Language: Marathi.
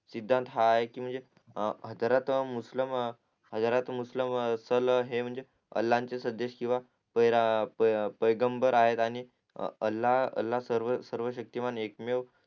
सिद्धांत हा आहे कि म्हणजे हा जर तो मुस्लम हा जर तो मुस्लम अल्लाचे संदेश किंवा बेगमराणी अल्ला सर्व सर्वशक्तीमान एकमेव